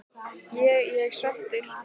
Ég ég svekktur?